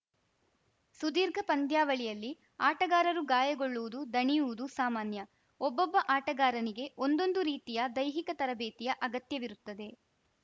ಸುದೀರ್ಘ ಪಂದ್ಯಾವಳಿಯಲ್ಲಿ ಆಟಗಾರರು ಗಾಯಗೊಳ್ಳುವುದು ದಣಿಯುವುದು ಸಾಮಾನ್ಯ ಒಬ್ಬೊಬ್ಬ ಆಟಗಾರನಿಗೆ ಒಂದೊಂದು ರೀತಿಯ ದೈಹಿಕ ತರಬೇತಿಯ ಅಗತ್ಯವಿರುತ್ತದೆ